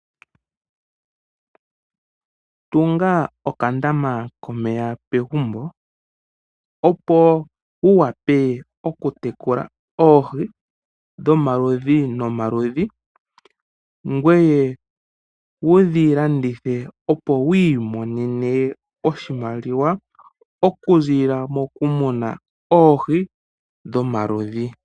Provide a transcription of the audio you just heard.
Tunga okandama komeya pegumbo, opo wu wape okutekula oohi dhomaludhi nomaludhi, ngoye wu dhi landithe opo wi imonene oshimaliwa okuziilila mokumuna oohi dhomaludhi.